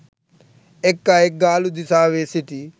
එක් අයෙක් ගාලු දිසාවේ සිටි